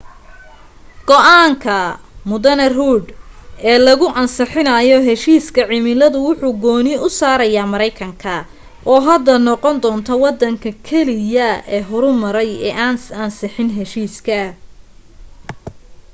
go'aanka md rudd ee lagu ansixinayo heshiiska cimiladu wuxu gooni u saaraya maraykanka oo hadda noqon doonta waddanka keliya ee horumaray ee aan ansixin heshiiska